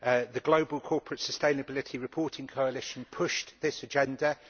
The global corporate sustainability reporting coalition pushed this agenda.